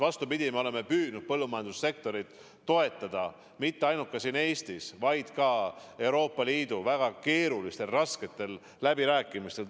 Vastupidi, me oleme püüdnud põllumajandussektorit toetada mitte ainult siin Eestis, vaid ka Euroopa Liidu väga keerulistel, rasketel läbirääkimistel.